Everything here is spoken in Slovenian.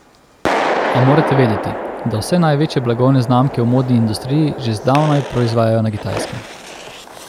A morate vedeti, da vse največje blagovne znamke v modni industriji že zdavnaj proizvajajo na Kitajskem.